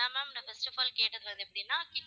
இதான் ma'am நாங்க கேட்டது வந்து எப்படின்னா?